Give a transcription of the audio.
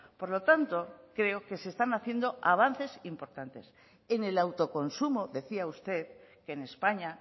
por lo tanto creo que se están haciendo avances importantes en el autoconsumo decía usted que en españa